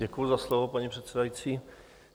Děkuju za slovo, paní předsedající.